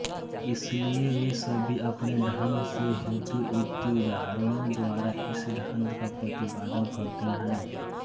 इसलिए वे सभी अपने ढंग से हेतुयुक्तिउदाहरणों द्वारा इस सिद्धांत का प्रतिपादन करते हैं